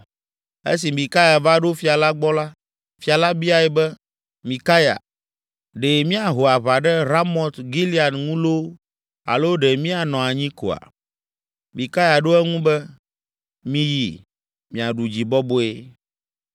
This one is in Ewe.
Esi Mikaya va ɖo fia la gbɔ la, fia la biae be, “Mikaya, ɖe míaho aʋa ɖe Ramot Gilead ŋu loo alo ɖe míanɔ anyi koa?” Mikaya ɖo eŋu be, “Miyi! Miaɖu dzi bɔbɔe!”